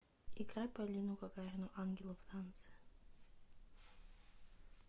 играй полину гагарину ангелы в танце